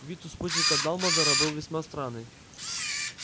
вид у спутника дамблдора был весьма странный